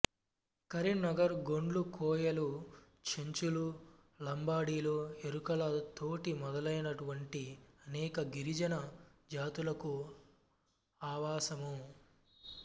కరీంనగర్ గోండ్లు కోయలు చెంచులు లంబాడీలు ఎరుకల తొటి మొదలైనటువంటి అనేక గిరిజన జాతులకు ఆవాసము